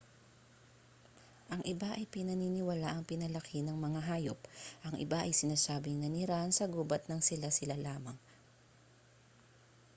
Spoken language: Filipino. ang iba ay pinaniniwalaang pinalaki ng mga hayop ang iba ay sinasabing nanirahan sa gubat ng sila-sila lamang